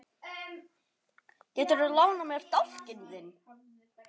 Geturðu lánað mér dálkinn þinn?